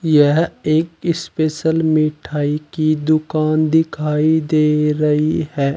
यह एक स्पेशल मिठाई की दुकान दिखाई दे रही है।